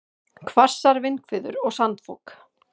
Hvassar vindhviður og sandfok